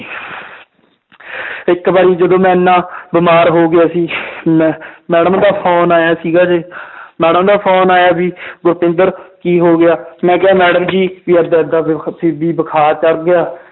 ਇੱਕ ਵਾਰੀ ਜਦੋਂ ਮੈਂ ਇੰਨਾ ਬਿਮਾਰ ਹੋ ਗਿਆ ਸੀ ਮੈਂ madam ਦਾ phone ਆਇਆ ਸੀਗਾ ਜੇ madam ਦਾ phone ਆਇਆ ਵੀ ਗੁਰਤਿੰਦਰ ਕੀ ਹੋ ਗਿਆ ਮੈਂ ਕਿਹਾ madam ਜੀ ਵੀ ਏਦਾਂ ਏਦਾਂ ਵੀ ਬੁਖ਼ਾਰ ਚੜ ਗਿਆ